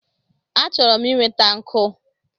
Achọrọ m inweta nkụ